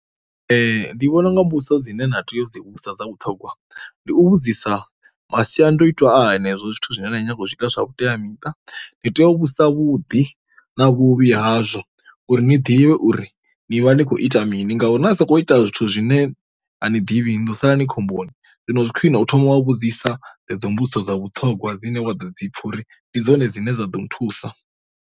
Ndi vhona unga mbudziso dzine na tea udzi vhudzisa dza vhuṱhogwa, ndi u vhudzisa masiandoitwa a henezwo zwithu zwine nda nyaga u zwiita zwa vhuteamiṱa. Ndi tea u vhusa vhuḓi na vhuvhi hazwo uri ni ḓivhe uri ni vha ni khou ita mini ngauri na sokou ita zwithu zwine a ni ḓivhi ndo sala ni khomboni, zwino zwi khwiṋe u thoma wa vhudzisa dzedzo mbudziso dza vhuṱhogwa dzine wa ḓo dzi pfha uri ndi dzine dzine dza ḓo nthusa.